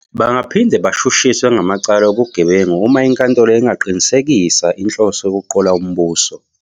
Bangaphinde bashushiswe ngamacala obugebengu uma inkantolo ingaqinisekisa inhloso yokuqola umbuso.